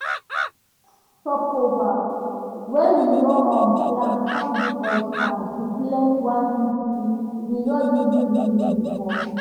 di short stopover wey we nor um plan com give us chance to flex one city we no even reason before.